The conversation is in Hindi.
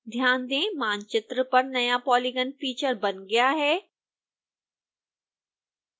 ध्यान दें मानचित्र पर नया polygon फीचर बन गया है